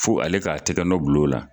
Fo ale k'a tɛgɛ nɔ bulon la.